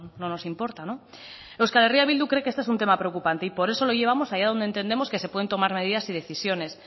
no nos importa euskal herria bildu cree que este es un tema preocupante y por eso lo llevamos allá donde entendemos que se pueden tomar medidas y decisiones